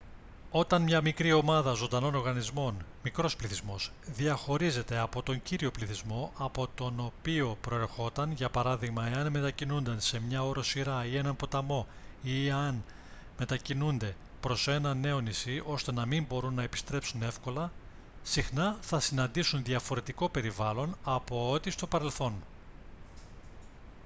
όταν μια μικρή ομάδα ζωντανών οργανισμών μικρός πληθυσμός διαχωρίζεται από τον κύριο πληθυσμό από τον οποίο προερχόταν για παράδειγμα εάν μετακινούνται σε μια οροσειρά ή έναν ποταμό ή εάν μετακινούνται προς ένα νέο νησί ώστε να μην μπορούν να επιστρέψουν εύκολα συχνά θα συναντήσουν διαφορετικό περιβάλλον από ότι στο παρελθόν